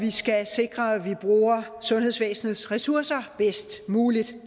vi skal sikre at vi bruger sundhedsvæsenets ressourcer bedst muligt